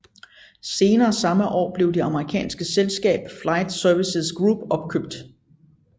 Senere samme år blev det amerikanske selskab Flight Services Group opkøbt